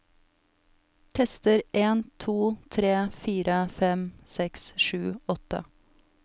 Tester en to tre fire fem seks sju åtte